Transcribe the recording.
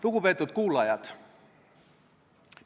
Lugupeetud kuulajad!